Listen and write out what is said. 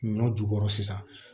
Ɲɔ jukɔrɔ sisan